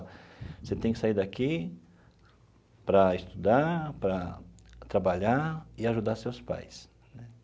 Você tem que sair daqui para estudar, para trabalhar e ajudar seus pais.